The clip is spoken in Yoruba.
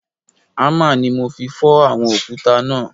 Hámà ni mo fi fọ́ àwọn òkúta náà